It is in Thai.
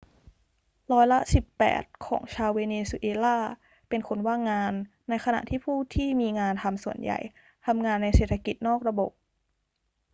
ร้อยละสิบแปดของชาวเวเนซุเอลาเป็นคนว่างงาน ในขณะที่ผู้ที่มีงานทำส่วนใหญ่ทำงานในเศรษฐกิจนอกระบบ